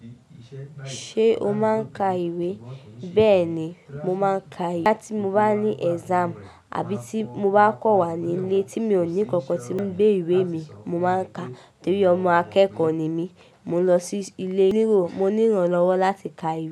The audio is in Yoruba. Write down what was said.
Ṣé o máa ń ka ìwé? Bẹ́ẹ̀ ni, mo máa ń ka ìwé. Láti mo bá ní exam àbí tí mo bá kò wá nílé tí mi ò ní ǹkankan tí ó ń gbé ìwé mi, mo máa ń ka. Nítorí ọmọ akẹ́kọ̀ọ́ ni mí. Mo lọ sí ilé onírò, mo níran lọ́wọ́ láti ka ìwé.